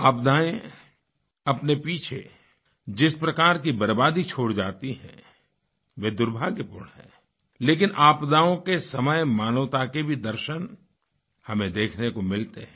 आपदाएँ अपने पीछे जिस प्रकार की बर्बादी छोड़ जाती हैं वह दुर्भाग्यपूर्ण हैं लेकिन आपदाओं के समय मानवता के भी दर्शन हमें देखने को मिलते हैं